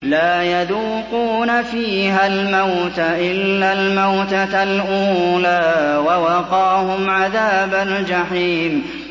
لَا يَذُوقُونَ فِيهَا الْمَوْتَ إِلَّا الْمَوْتَةَ الْأُولَىٰ ۖ وَوَقَاهُمْ عَذَابَ الْجَحِيمِ